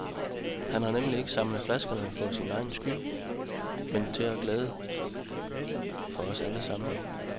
Han har nemlig ikke samlet flaskerne for sin egen skyld, men til glæde for os alle sammen.